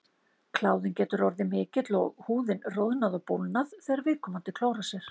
Kláðinn getur orðið mikill og húðin roðnað og bólgnað þegar viðkomandi klórar sér.